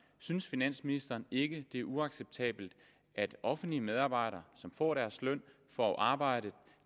synes finansministeren ikke det er uacceptabelt at offentlige medarbejdere som får deres løn for at arbejde